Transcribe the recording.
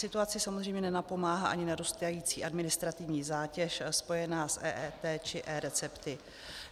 Situace samozřejmě nenapomáhá ani narůstající administrativní zátěž spojená s EET či eRecepty.